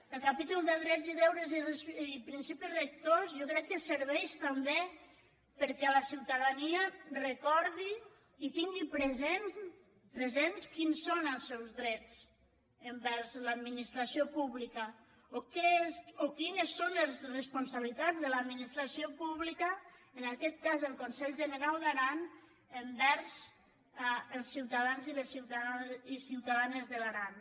el capítol de drets i deures i principis rectors jo crec que serveix també perquè la ciutadania recordi i tin·gui presents quins són els seus drets envers l’admi·nistració pública o quines són les responsabilitats de l’administració pública en aquest cas del conselh generau d’aran envers els ciutadans i les ciutadanes de l’aran